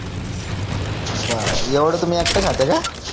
बर ऍडवा तुम्ही एकटा खाता का